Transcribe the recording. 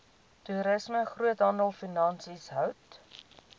toerisme groothandelfinansies hout